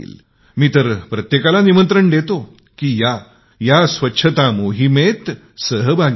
मी तर प्रत्येकाला निमंत्रण देतो की या स्वच्छता मोहिमेशी जोडले जा